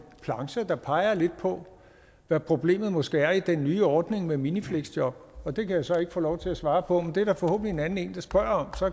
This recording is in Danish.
plancher der peger lidt på hvad problemet måske er i den nye ordning med minifleksjob og det kan jeg så ikke få lov til at svare på men det er der forhåbentlig en anden der spørger om så